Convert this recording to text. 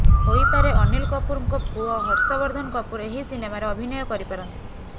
ହୋଇପାରେ ଅନୀଲ କପୁରଙ୍କ ପୁଅ ହର୍ଷବର୍ଦ୍ଦନ କପୁର୍ ଏହି ସିନେମାରେ ଅଭିନୟ କରିପାରନ୍ତି